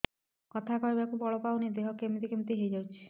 କଥା କହିବାକୁ ବଳ ପାଉନି ଦେହ କେମିତି କେମିତି ହେଇଯାଉଛି